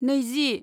नैजि